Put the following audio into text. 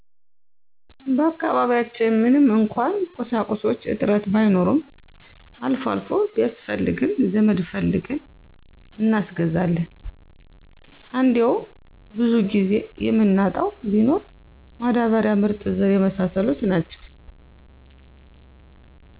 በአካባቢያችን ምንም እንኳን ቁሳቁሶች እጥረቱ ባይኖረም አልፎ አልፎ ቢያስፈልገን ዘመድ ፈልገን እናስገዛለን እንዴው ብዙን ጊዜ የምናጣው ቢኖር መዳበሪያ፣ ምርጥዘር የመሳሰሉት ናቸው